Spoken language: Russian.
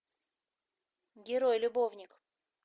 герой любовник